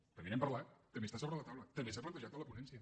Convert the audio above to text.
també n’hem parlat també està sobre la taula també s’ha plantejat a la ponència